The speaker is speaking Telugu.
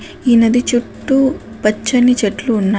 ఈ నది చుట్టూ పచ్చని చెట్లు ఉన్నాయి.